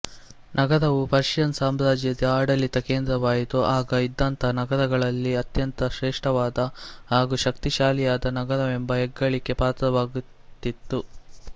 ನಗರವು ಪರ್ಷಿಯನ್ ಸಾಮ್ರಾಜ್ಯದ ಆಡಳಿತ ಕೇಂದ್ರವಾಯಿತು ಆಗ ಇದ್ದಂತಹ ನಗರಗಳಲ್ಲಿ ಅತ್ಯಂತ ಶ್ರೇಷ್ಠವಾದ ಹಾಗು ಶಕ್ತಿಶಾಲಿಯಾದ ನಗರವೆಂಬ ಹೆಗ್ಗಳಿಕೆಗೆ ಪಾತ್ರವಾಗಿದಿತ್ತು